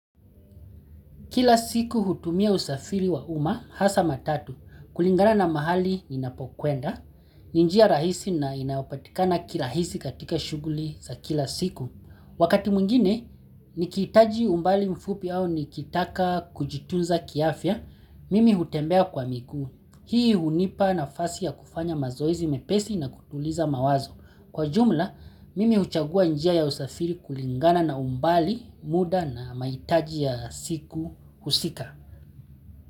Kila siku hutumia usafiri wa umma, hasa matatu, kulingana na mahali ninapokuenda, ni njia rahisi na inayopatikaba kirahisi katika shughuli za kila siku. Wakati mwingine, nikihitaji umbali mfupi au nikitaka kujitunza kiafya, mimi hutembea kwa miguu. Hii hunipa nafasi ya kufanya mazoezi mepesi na kutuliza mawazo. Kwa ujumla, mimi huchagua njia ya usafiri kulingana na umbali, muda na mahitaji ya siku husika.